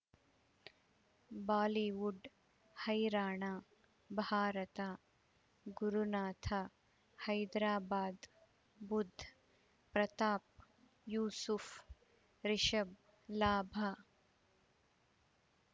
Bollywood ಹೈರಾಣ ಭಾರತ ಗುರುನಾಥ ಹೈದರಾಬಾದ್ ಬುಧ್ ಪ್ರತಾಪ್ ಯೂಸುಫ್ ರಿಷಬ್ ಲಾಭ